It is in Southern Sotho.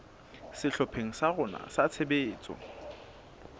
sehlopheng sa rona sa tshebetso